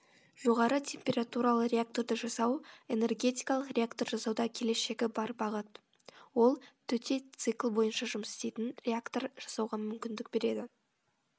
жоғары температуралы реакторды жасау энергетикалық реактор жасауда келешегі бар бағыт ол төте цикл бойынша жұмыс істейтін реактор жасауға мүмкіндік береді